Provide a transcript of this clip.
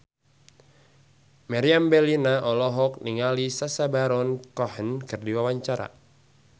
Meriam Bellina olohok ningali Sacha Baron Cohen keur diwawancara